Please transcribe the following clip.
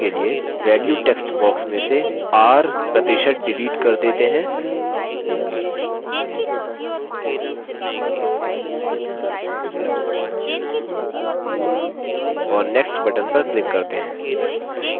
चलिए अब सभी सदस्यों को सूचीबद्ध करने के लिए value text box में से r% डिलीट कर देते हैं और next button पर click करते हैं